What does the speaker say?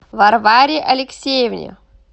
варваре алексеевне